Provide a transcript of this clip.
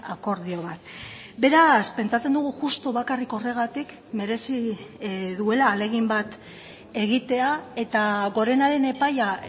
akordio bat beraz pentsatzen dugu justu bakarrik horregatik merezi duela ahalegin bat egitea eta gorenaren epaia